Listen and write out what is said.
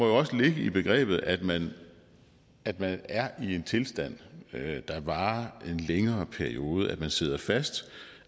også må ligge i begrebet at man at man er i en tilstand der varer en længere periode at man sidder fast